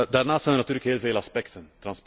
Daarnaast zijn er natuurlijk heel veel aspecten.